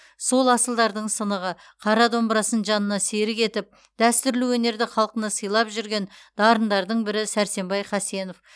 сол асылдардың сынығы қара домбырасын жанына серік етіп дәстүрлі өнерді халқына сыйлап жүрген дарындардың бірі сәрсенбай хасенов